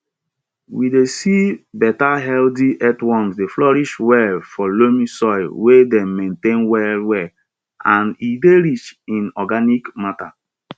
we dey see better healthy earthworms dey flourish well for loamy soil wey dem maintain well well and e dey rich in organic matter